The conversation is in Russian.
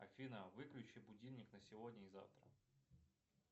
афина выключи будильник на сегодня и завтра